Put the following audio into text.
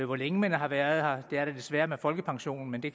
hvor længe man har været her det er det desværre med folkepensionen men det